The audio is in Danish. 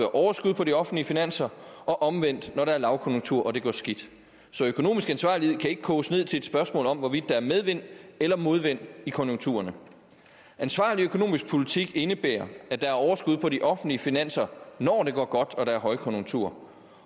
overskud på de offentlige finanser og omvendt når der er lavkonjunktur og det går skidt så økonomisk ansvarlighed kan ikke koges ned til et spørgsmål om hvorvidt der er medvind eller modvind i konjunkturerne ansvarlig økonomisk politik indebærer at der er overskud på de offentlige finanser når det går godt og der er højkonjunktur